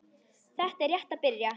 Þetta er rétt að byrja.